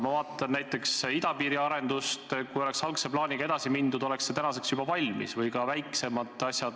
Ma vaatan näiteks idapiiri arendust – kui algse plaaniga oleks edasi mindud, oleks see tänaseks juba valmis – või ka väiksemaid asju.